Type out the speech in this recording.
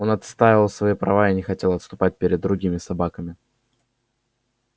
он отстаивал свои права и не хотел отступать перед другими собаками